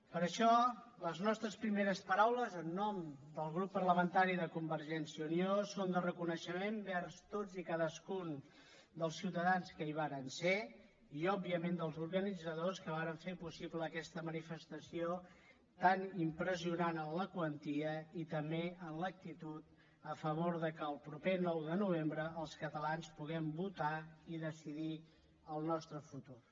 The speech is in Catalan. per això les nostres primeres paraules en nom del grup parlamentari de convergència i unió són de reconeixement vers tots i cadascun dels ciutadans que hi varen ser i òbviament dels organitzadors que varen fer possible aquesta manifestació tan impressionant en la quantia i també en l’actitud a favor que el proper nou de novembre els catalans puguem votar i decidir el nostre futur